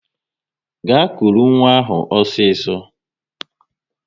Gaa kụrụ nwa ahụ osiso!